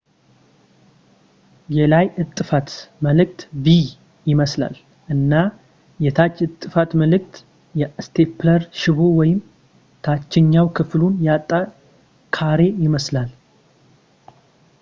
የላይ እጥፋት ምልክት v ይመስላል እና የታች እጥፋት ምልክት የስቴፕለር ሽቦ ወይም ታችኛው ክፍሉን ያጣ ካሬ ይመስላል